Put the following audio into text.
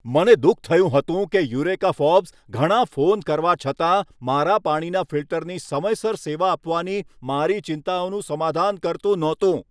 મને દુઃખ થયું હતું કે યુરેકા ફોર્બ્સ ઘણા ફોન કરવા છતાં મારા પાણીના ફિલ્ટરની સમયસર સેવા આપવાની મારી ચિંતાઓનું સમાધાન કરતું નહોતું.